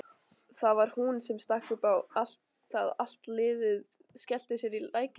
Það var hún sem stakk upp á að allt liðið skellti sér í lækinn.